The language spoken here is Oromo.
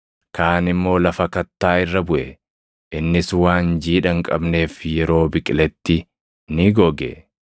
Kaan immoo lafa kattaa irra buʼe; innis waan jiidha hin qabneef yeroo biqiletti ni goge.